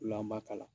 O la an b'a kala